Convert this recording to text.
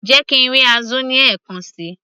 jẹ́ kí ń rí azu ní ẹ̀kan síi